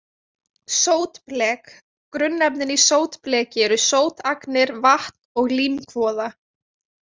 Sótblek Grunnefnin í sótbleki eru sótagnir, vatn og límkvoða.